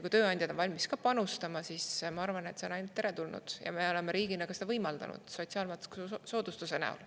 Kui tööandjad on valmis ka panustama, siis ma arvan, et see on igati teretulnud, ja me oleme riigina seda võimaldanud sotsiaalmaksusoodustuse näol.